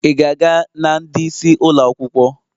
Ị ga-aga na ndị isi ụlọ akwụkwọ?